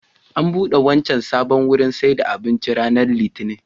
An buɗe wancan sabon wurin sayar da abincin ranar Litinin